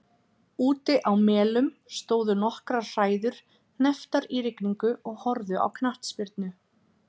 Úti á Melum stóðu nokkrar hræður hnepptar í rigningu og horfðu á knattspyrnu.